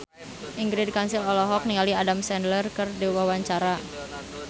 Ingrid Kansil olohok ningali Adam Sandler keur diwawancara